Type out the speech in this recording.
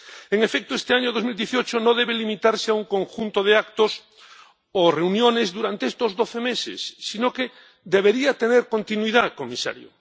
En efecto, este año 2018 no debe limitarse a un conjunto de actos o reuniones durante estos doce meses, sino que debería tener continuidad, señor comisario.